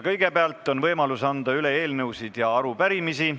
Kõigepealt on võimalus anda üle eelnõusid ja arupärimisi.